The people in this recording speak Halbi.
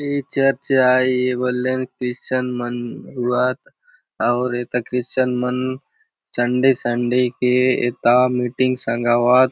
ए चर्च आय ए बले न क्रिश्चियन मन रहुआत आउर एथा क्रिश्चियन मन चंडे सन्डे के एथा मीटिंग संगाऊआत।